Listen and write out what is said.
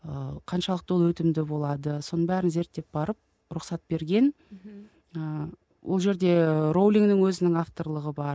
ыыы қаншалықты ол өтімді болады соның бәрін зерттеп барып рұқсат берген мхм ыыы ол жерде роулигінің өзінің авторлығы бар